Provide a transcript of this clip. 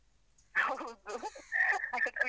ಹೌದು .